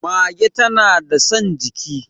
mage tana da San jiki